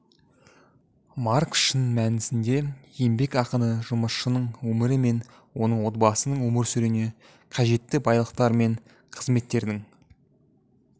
маркс шын мәнісінде еңбек ақыны жұмысшының өмірі мен оның отбасының өмір сүруіне қажетті байлықтар мен қызметтердің